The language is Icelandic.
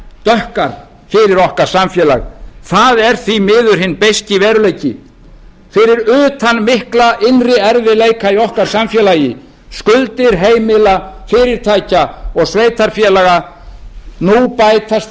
fyrir okkar samfélag það er því miður hinn beiski veruleiki fyrir utan mikla innri erfiðleika í okkar samfélagi skuldir heimila fyrirtækja og sveitarfélaga nú bætast